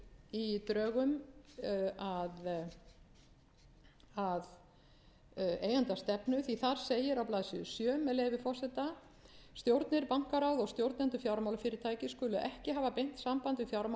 því að þar segir á blaðsíðu sjö með leyfi forseta stjórnir bankaráð og stjórnendur fjármálafyrirtækja skulu ekki hafa beint samband við fjármálaráðherra eða